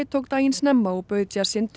tók daginn snemma og bauð